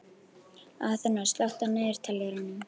Aþena, slökktu á niðurteljaranum.